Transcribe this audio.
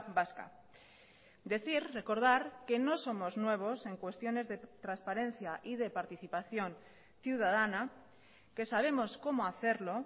vasca decir recordar que no somos nuevos en cuestiones de transparencia y de participación ciudadana que sabemos cómo hacerlo